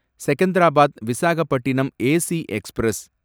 Secunderabad Visakhapatnam AC express